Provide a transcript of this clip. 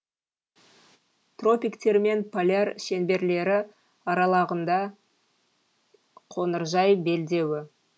тропиктер мен поляр шеңберлері аралығында қоңыржай белдеуі